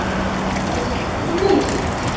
Enginn veit neitt.